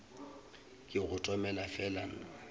ke go tomele fela nna